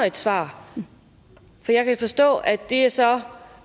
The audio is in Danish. et svar for jeg kan forstå at det så